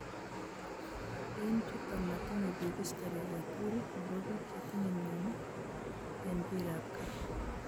En chuto motinye biik history agetugul nebo biik chetinye myoni en biik ab kaa